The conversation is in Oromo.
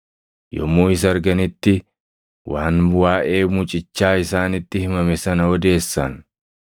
Yommuu isa arganitti waan waaʼee mucichaa isaanitti himame sana odeessan;